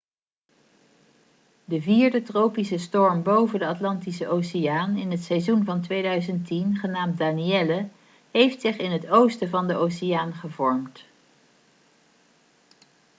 de vierde tropische storm boven de atlantische oceaan in het seizoen van 2010 genaamd danielle heeft zich in het oosten van de oceaan gevormd